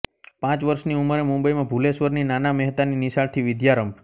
પાંચ વર્ષની ઉંમરે મુંબઈમાં ભૂલેશ્વરની નાના મહેતાની નિશાળથી વિદ્યારંભ